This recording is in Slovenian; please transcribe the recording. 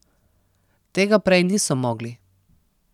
Tega prej niso mogli.